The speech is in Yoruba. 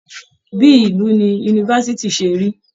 Bíí ìlú ní yunifásítì ṣe rí.